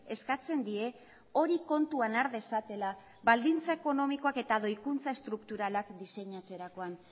eskatzen die hori kontuan har dezatela baldintza ekonomikoak eta doikuntza estrukturalak diseinatzerakoan